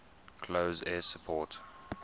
close air support